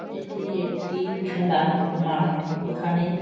এটি একটি খেলার মাঠ। এখানে--